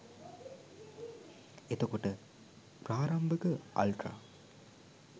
එතකොට ප්‍රාරම්භක අල්ට්‍රා